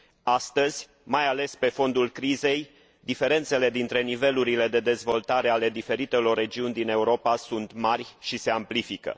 Astăzi, mai ales pe fondul crizei, diferențele dintre nivelurile de dezvoltare ale diferitelor regiuni din Europa sunt mari și se amplifică.